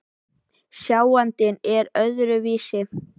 Sjáandinn er öðru vísi innréttaður en sjónlausir.